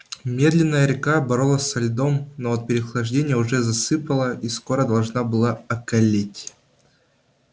медленная река боролась со льдом но от переохлаждения уже засыпала и скоро должна была околеть